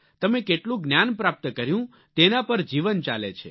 તમે કેટલું જ્ઞાન પ્રાપ્ત કર્યું તેના પર જીવન ચાલે છે